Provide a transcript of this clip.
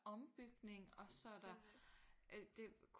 Ombygning og så er der øh det